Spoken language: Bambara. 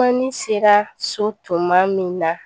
ne sera so tuma min na